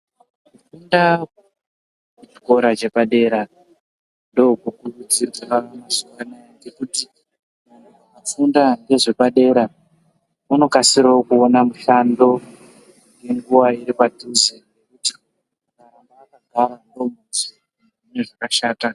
Ndau dzepachikora dzepadera ndokunodzidzira kuti kufunda ngezvepadera unokasirawo kuwana mushando nenguva iripadhuze.